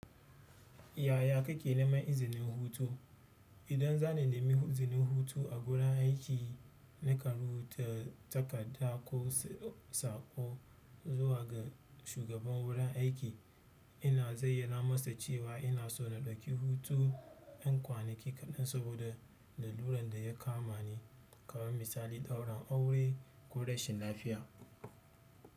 Yaya kake neman izinin hutu? Idan zana nemi izinin hutu a wurin aiki, nakan rubuta takarda ko saƙo zuwa ga shugaban wurin aiki, ina zayyana masa cewa ina so na ɗauki hutu ƴan kwaninki kaɗan saboda laluran da ya kama ni, kamar misali daurin aure ko rashin lafiya.